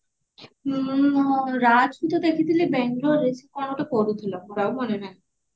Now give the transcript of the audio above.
ରାଜ କୁ ତ ଦେଖିଥିଲି ବାଙ୍ଗାଲୋରେ ସେ କଣ ଗୋଟେ କରୁଥିଲା ମୋର ଆଉ ମାନେ ନାହିଁ